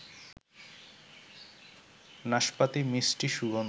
নাশপাতি মিষ্টি সুগন্ধ